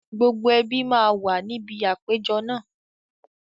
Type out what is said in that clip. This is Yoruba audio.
Gbogbo ẹbí máa wà níbi àpéjọ náà